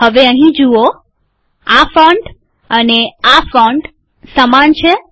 હવે અહીં જુઓઆ ફોન્ટ અને આ ફોન્ટ સમાન છે